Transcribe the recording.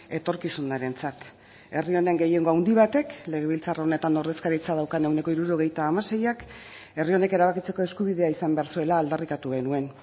etorkizunarentzat herri honen gehiengo handi batek legebiltzar honetan ordezkaritza daukan ehuneko hirurogeita hamaseiak herri honek erabakitzeko eskubidea izan behar zuela aldarrikatu genuen